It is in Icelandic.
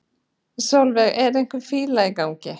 Sólveig: Er einhver fíla í gangi?